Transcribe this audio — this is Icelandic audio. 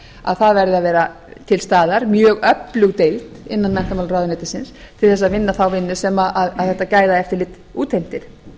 að það verði að vera til staðar mjög öflug deild innan menntamálaráðuneytisins til þess að vinna þá vinnu sem þetta gæðaeftirlit útheimtir